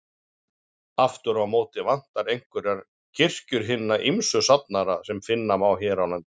Aftur á móti vantar einhverjar kirkjur hinna ýmsu safnaða sem finna má á landinu.